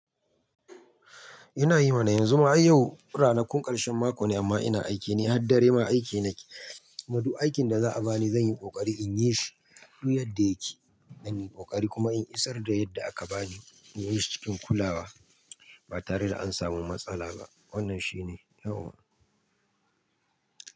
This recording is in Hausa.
Ina yi mana yanzu ma ai yau ranakun ƙarshen mako ne amma ina aiki ne har dare ma aiki nake. Kuma duk aikin da za a bani zan yi ƙoƙari in yi shi duk yadda yake. Dan in yi ƙoƙari kuma in isar da yadda aka bani in yi shi cikin kulawa ba tare da an samu matsala ba. Wannan shi ne yau.